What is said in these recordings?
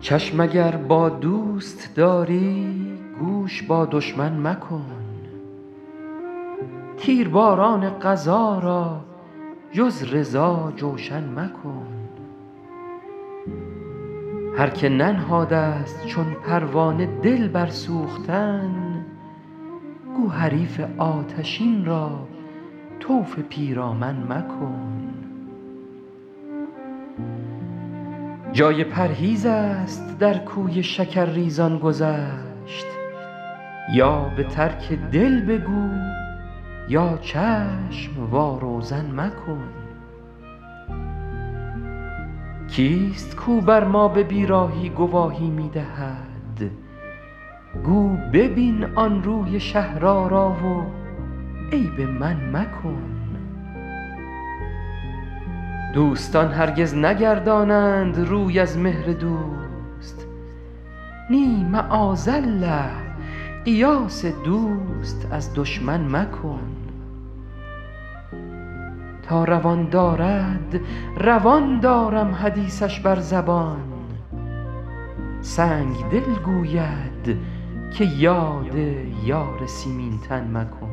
چشم اگر با دوست داری گوش با دشمن مکن تیرباران قضا را جز رضا جوشن مکن هر که ننهاده ست چون پروانه دل بر سوختن گو حریف آتشین را طوف پیرامن مکن جای پرهیز است در کوی شکرریزان گذشت یا به ترک دل بگو یا چشم وا روزن مکن کیست کاو بر ما به بیراهی گواهی می دهد گو ببین آن روی شهرآرا و عیب من مکن دوستان هرگز نگردانند روی از مهر دوست نی معاذالله قیاس دوست از دشمن مکن تا روان دارد روان دارم حدیثش بر زبان سنگدل گوید که یاد یار سیمین تن مکن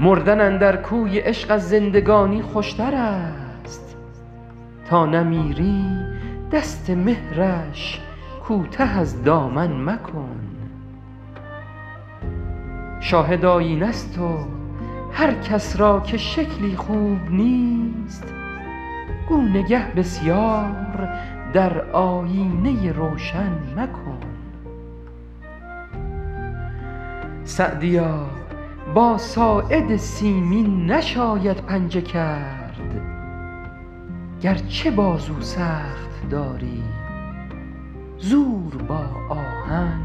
مردن اندر کوی عشق از زندگانی خوشتر است تا نمیری دست مهرش کوته از دامن مکن شاهد آیینه ست و هر کس را که شکلی خوب نیست گو نگه بسیار در آیینه روشن مکن سعدیا با ساعد سیمین نشاید پنجه کرد گرچه بازو سخت داری زور با آهن مکن